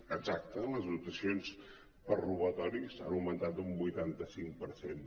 exacte les detencions per robatoris han aug·mentat un vuitanta cinc per cent